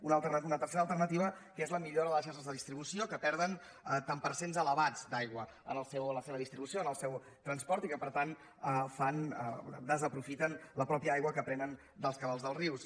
una tercera alternativa que és la millora de les xarxes de distribució que perden tants per cent elevats d’aigua en la seva distribució en el seu transport i que per tant desaprofiten la mateixa aigua que prenen dels cabals dels rius